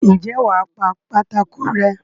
ǹjẹ́ wà á pa pátákó rẹ́?